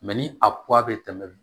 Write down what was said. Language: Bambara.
ni a bɛ tɛmɛ